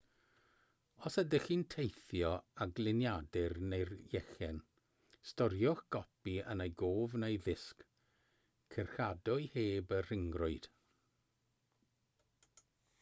os ydych chi'n teithio â gliniadur neu lechen storiwch gopi yn ei gof neu ddisg cyrchadwy heb y rhyngrwyd